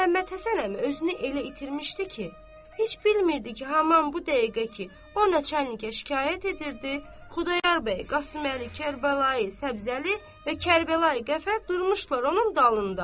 Məhəmmədhəsən əmi özünü elə itirmişdi ki, heç bilmirdi ki, haman bu dəqiqə ki, o nəçə enliyə şikayət edirdi, Xudayar bəy, Qasıməli, Kərbəlayı Səbzəli və Kərbəlayı Qəfər durmuşdular onun dalında.